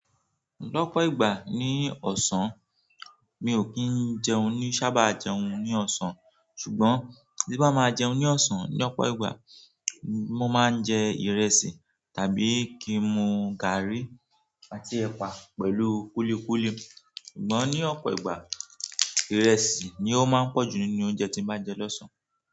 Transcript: Lọ́pọ̀ ìgbà ní ọ̀sán, mi ò kí ń jẹun ni sábà jẹun ní ọ̀sán. Ṣùgbọ́n bí n bá máa jẹun ní ọ̀sán ní ọ̀pọ̀ ìgbà, mo máa ń jẹ ìrẹsì tàbí kí n mu gààrí àti ẹ̀pà pẹ̀lú kúlíkúlí. Ṣùgbọ́n ní ọ̀pọ̀ ìgbà, ìrẹsì ni ó máa ń pọ̀jù nínú oúnjẹ tí mo bá jẹ lọ́sàn-án.